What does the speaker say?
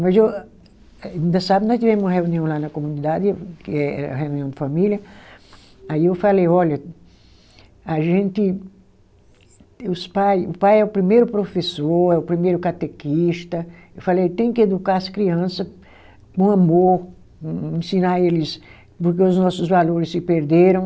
Mas eu ainda sábado, nós tivemos uma reunião lá na comunidade, que é a reunião de família, aí eu falei, olha, a gente, os pai, o pai é o primeiro professor, é o primeiro catequista, eu falei, tem que educar as criança com amor, ensinar eles, porque os nossos valores se perderam,